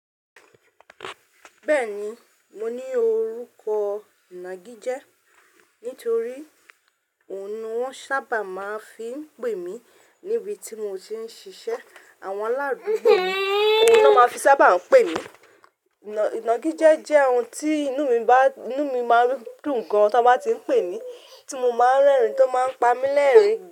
Bẹ́ẹ̀ni, mo ní orúkọ inagije. Nítorí òun ni wọ́n sábà máa ń fi ń pè mí níbi tí mo ti ń ṣiṣẹ́. Àwọn aládùúgbò mi, òun ni wọ́n máa fi sábà ń pè mí. Ìnàgijẹ́ ohun tí inú mi máa ń dùn gan ta bá ti ń pè mí, tí mo máa ń rẹ́rìn-ín tó máa ń pa mí lẹ́rin.